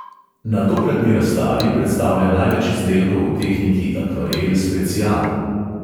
Na tokratni razstavi predstavlja največ izdelkov v tehniki akvarel specijal.